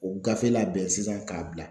O gafe labɛn sisan k'a bila